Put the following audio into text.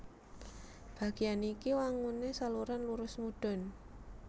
Bagéyan iki wanguné saluran lurus mudhun